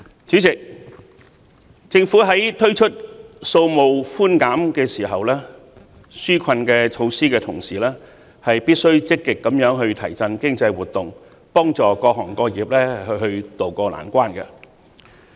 主席，政府在推出稅務寬減紓困措施的同時，必須積極提振經濟活動，幫助各行各業渡過難關。